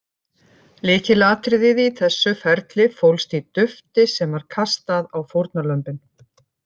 Lykilatriðið í þessu ferli fólst í dufti sem var kastað á fórnarlömbin.